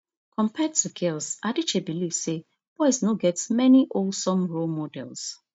compared to girls adichie believe say boys no get many wholesome role models